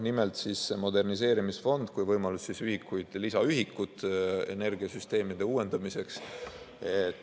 Nimelt, see moderniseerimisfond on võimalus saada lisaühikuid energiasüsteemide uuendamiseks.